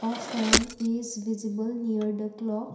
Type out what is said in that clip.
a fan is visible near the clock.